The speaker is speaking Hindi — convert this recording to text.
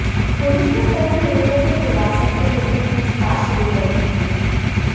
पुलिस ने कई युवकों को हिरासत में लेकर पूछताछ शुरू कर दी है